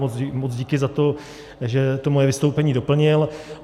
Moc díky za to, že to moje vystoupení doplnil.